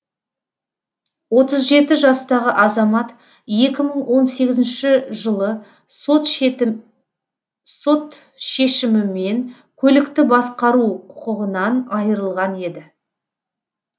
отыз жеті жастағы азамат екі мың он сегізінші жылы шешімімен сот шешімімен көлікті басқару құқығынан айырылған еді